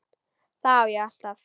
Þá á ég alltaf.